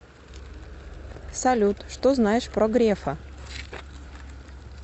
салют что знаешь про грефа